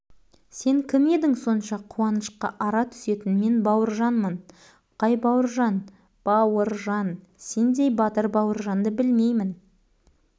батыр бауыржан өліп қалған жоқ бауыржан тірі ол батыр ол мына мен балалар мына жаманды қараңдар